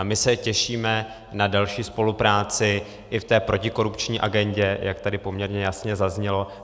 A my se těšíme na další spolupráci i v té protikorupční agendě, jak tady poměrně jasně zaznělo.